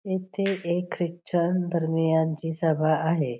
येथे एक ख्रिश्चन धर्मीयच धर्मीयांची सभा आहे.